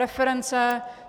Reference.